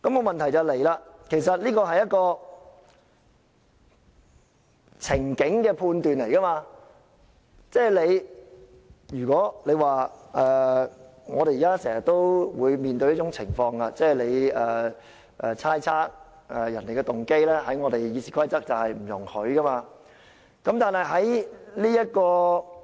問題是，這是一個情境的判斷，即是我們現時經常面對一種情況，我們要猜測別人的動機，但《議事規則》是不容許這樣做的。